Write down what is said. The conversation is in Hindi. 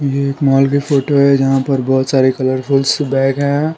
ये एक मॉल की फोटो है जहां पर बहुत सारे कलरफुल्स बैग है।